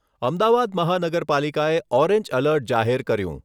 અમદાવાદ મહાનગરપાલિકાએ orange alert જાહેર કર્યું.